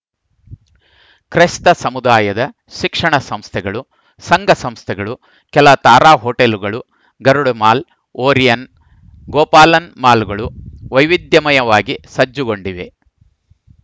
ಕ್ರೈಸ್ತ ಸಮುದಾಯದ ಶಿಕ್ಷಣ ಸಂಸ್ಥೆಗಳು ಸಂಘಸಂಸ್ಥೆಗಳು ಕೆಲ ತಾರಾ ಹೋಟೆಲುಗಳು ಗರುಡ ಮಾಲ್‌ ಒರಾಯನ್‌ ಗೋಪಾಲನ್‌ ಮಾಲ್‌ಗಳು ವೈವಿಧ್ಯಮಯವಾಗಿ ಸಜ್ಜುಗೊಂಡಿವೆ